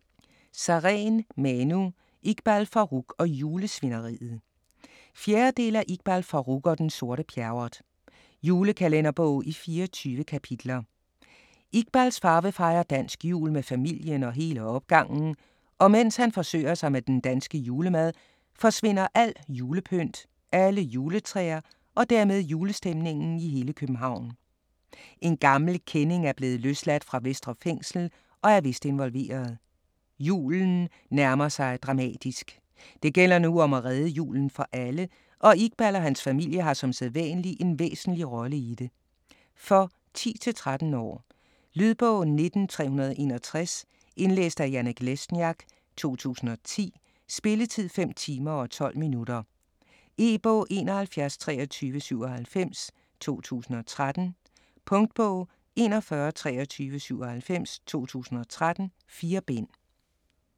Sareen, Manu: Iqbal Farooq og julesvineriet 4. del af Iqbal Farooq og den sorte Pjerrot. Julekalenderbog i 24 kapitler. Iqbals far vil fejre dansk jul med familien og hele opgangen, og mens han forsøger sig med den danske julemad, forsvinder alt julepynt, alle juletræer og dermed julestemningen i hele København. En gammel kending er blevet løsladt fra Vestre Fængsel, og er vist involveret. Julen nærmer sig dramatisk. Det gælder nu om at redde julen for alle, og Iqbal og hans familie har som sædvanlig en væsentlig rolle i det. For 10-13 år. Lydbog 19361 Indlæst af Janek Lesniak, 2010. Spilletid: 5 timer, 12 minutter. E-bog 712397 2013. Punktbog 412397 2013. 4 bind.